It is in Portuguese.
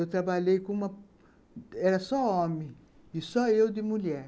Eu trabalhei com uma... Era só homem e só eu de mulher.